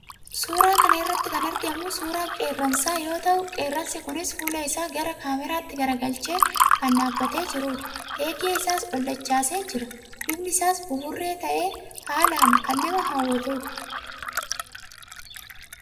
Suuraa kana irratti kan argamu suuraa qeerransaa yoo ta'u, qeerransi kunis fuula isaa gara kaameraatti garagalchee kan dhaabbatee jirudha. Eegee isaas ol dachaasee jira. Bifni isaas buburree ta'ee, haalaa kan nama hawwatudha.